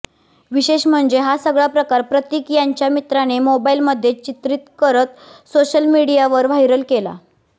विशेष म्हणजे हा सगळा प्रकार प्रतीक यांच्या मित्राने मोबाईलमध्ये चित्रित करत सोशल मीडियावर व्हायरल केला